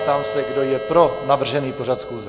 Ptám se, kdo je pro navržený pořad schůze.